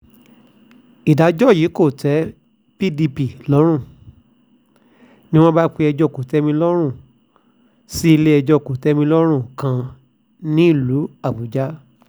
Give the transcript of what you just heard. ìdájọ́ yìí kò tẹ́ pdp lọ́rùn ni wọ́n bá péjọ kò-tẹ́-mi-lọ́rùn sílé-ẹjọ́ kò-tẹ́-mi-lọ́rùn kan nílùú àbújá